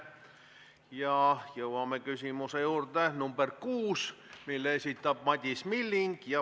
Ja jõuame küsimuse nr 6 juurde, mille esitab Madis Milling.